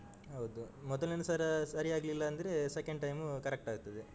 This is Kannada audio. ಹೌದು, ಮೊದಲನೆ ಸಲ ಸರಿ ಆಗ್ಲಿಲ್ಲ ಅಂದ್ರೆ second time correct ಆಗ್ತದೆ.